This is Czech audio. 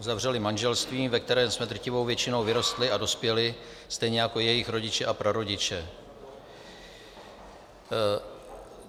Uzavřeli manželství, ve kterém jsme drtivou většinou vyrostli a dospěli, stejně jako jejich rodiče a prarodiče.